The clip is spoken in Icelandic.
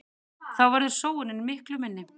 Þá verður sóunin miklu minni.